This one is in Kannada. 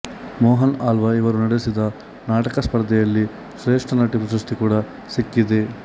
ಮೋಹನ್ ಆಳ್ವ ಇವರು ನಡೆಸಿದ ನಾಟಕ ಸ್ಪರ್ಧೆಯಲ್ಲಿ ಶ್ರೇಷ್ಠ ನಟಿ ಪ್ರಶಸ್ತಿ ಕೂಡಾ ಸಿಕ್ಕಿದೆ